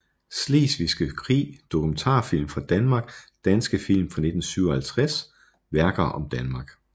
Slesvigske Krig Dokumentarfilm fra Danmark Danske film fra 1957 Værker om Danmark